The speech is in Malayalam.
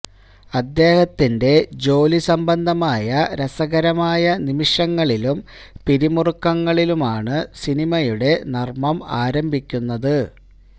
അദ്ദേഹത്തിന്റെ ജോലി സംബന്ധമായ രസകരമായ നിമിഷങ്ങളിലും പിരിമുറുക്കങ്ങളിലുമാണ് സിനിമയുടെ നർമം ആരംഭിക്കുന്നത്